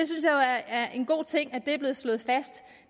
er en god ting at det er blevet slået fast